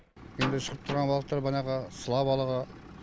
енді шығып тұрған балықтар банағы сыла балығы